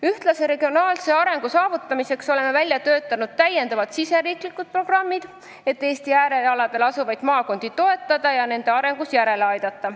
Ühtlase regionaalse arengu saavutamiseks oleme välja töötanud täiendavad riigisisesed programmid, et Eesti äärealadel asuvaid maakondi toetada ja neid arengus järele aidata.